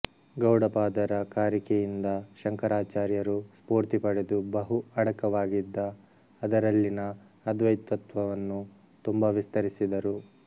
ಗೌಡಪಾದರ ಕಾರಿಕೆಯಿಂದ ಶಂಕರಾಚಾರ್ಯರು ಸ್ಫೂರ್ತಿಪಡೆದು ಬಹು ಅಡಕವಾಗಿದ್ದ ಅದರಲ್ಲಿನ ಅದ್ವೈತತ್ತ್ವವನ್ನು ತುಂಬ ವಿಸ್ತರಿಸಿದರು